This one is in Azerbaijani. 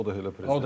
O da elə prezident.